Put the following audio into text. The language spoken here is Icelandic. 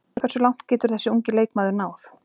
Hversu langt getur þessi ungi leikmaður náð?